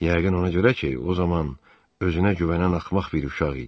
Yəqin ona görə ki, o zaman özünə güvənən axmaq bir uşaq idim.